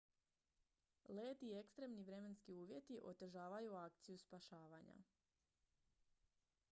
led i ekstremni vremenski uvjeti otežavaju akciju spašavanja